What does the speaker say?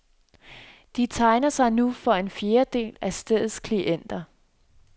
De tegner sig nu for en fjerdedel af stedets klienter.